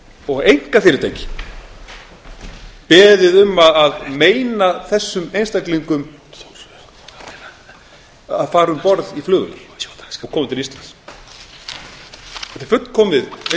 og einkafyrirtæki beðið um að meina þessum einstaklingum að fara um borð í flugvél og koma til íslands þetta er fullkomið einsdæmi